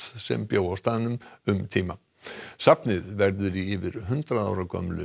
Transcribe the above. sem bjó á staðnum um tíma safnið verður í yfir hundrað ára gömlu